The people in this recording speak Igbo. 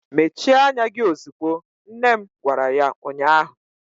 Mechie anya gị ozugbo! nne m gwara ya ụnyaahụ.